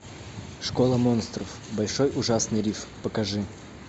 школа монстров большой ужасный риф покажи